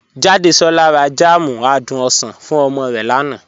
Jàdésolá rà jam àdùn osan fún omo rẹ lánà.